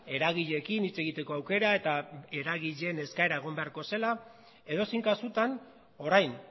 eragileekin hitz egiteko aukera eta eragileen eskaera egon beharko zela edozein kasutan orain